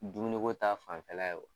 Dumuniko ta fanfɛla ye wo.